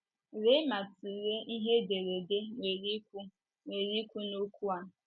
Lee ma tụlee ihe ederede nwere ikwu nwere ikwu n’okwu a?